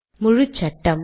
முழுச்சட்டம்